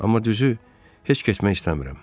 Amma düzü heç getmək istəmirəm.